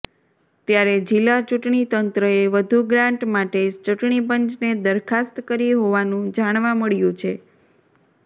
ત્યારે જિલ્લા ચૂંટણી તંત્રએ વધુ ગ્રાન્ટ માટે ચૂંટણીપંચને દરખાસ્ત કરી હોવાનું જાણવા મળ્યું છે